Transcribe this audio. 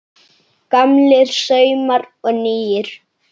Gamlir saumar og nýir